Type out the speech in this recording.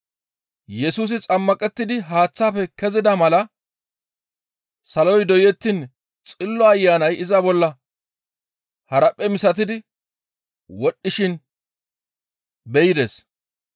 Yesusi xammaqettidi haaththaafe kezida mala saloy doyettiin Xillo Ayanay iza bolla haraphphe misatidi wodhdhishin be7ides.